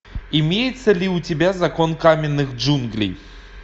имеется ли у тебя закон каменных джунглей